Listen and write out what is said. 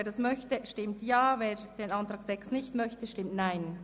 Wer dies möchte, stimmt Ja, wer dies ablehnt, stimmt Nein.